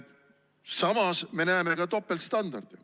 Samas me näeme ka topeltstandardeid.